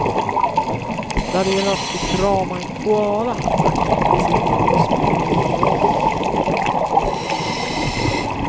När det gäller att få krama en koala verkar inte tiden spela någon roll.